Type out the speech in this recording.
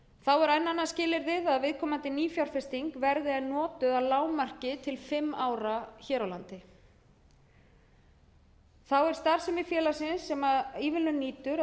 enn annað skilyrði það er að viðkomandi nýfjárfesting verði notuð að lágmarki til fimm ára hér á landi þá er starfsemi félagsins sem ívilnun nýtur þá verðum við að gæta þess að hún sé að öllu